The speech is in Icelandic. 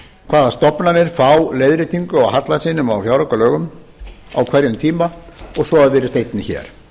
hvaða stofnanir fá leiðréttingu á halla sínum á fjáraukalögum á hverjum tíma og svo virðist einnig hér